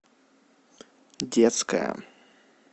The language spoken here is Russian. детская